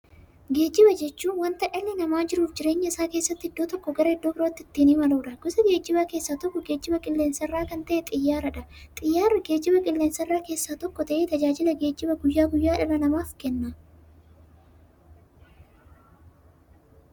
Geejjiba jechuun wanta dhalli namaa jiruuf jireenya isaa keessatti iddoo tokkoo gara iddoo birootti ittiin imaluudha. Gosa geejjibaa keessaa tokko geejjiba qilleensarraa kan ta'e Xiyyaaradha. Xiyyaarri geejjibaa qilleensarraa keessaa tokko ta'ee, tajaajila geejjibaa guyyaa guyyaan dhala namaaf kenna.